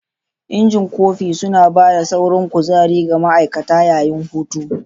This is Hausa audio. Injin kofi suna ba da saurin kuzari ga ma'aikata yayin hutu.